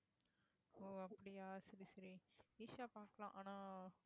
ஓ அப்படியா சரி சரி ஈஷா பாக்கலாம் ஆனா